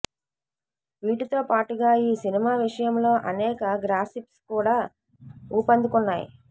వీటితో పాటుగా ఈ సినిమా విషయంలో అనేక గాసిప్స్ కూడా ఊపందుకున్నాయి